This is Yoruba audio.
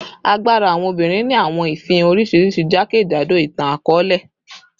Agbara awọn obinrin ni awọn ifihan oriṣiriṣi jakejado itan-akọọlẹ